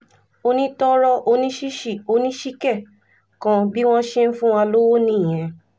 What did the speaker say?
onítoro onísìsì onísìké kan bí wọ́n ṣe ń fún wa lọ́wọ́ nìyẹn